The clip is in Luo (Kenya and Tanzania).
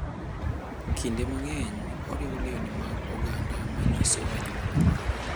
Kinde mang’eny, oriwo lewni mag oganda ma nyiso anyuola mare.